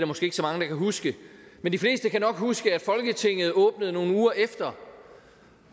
måske ikke så mange der kan huske men de fleste kan nok huske at folketinget åbnede nogle uger efter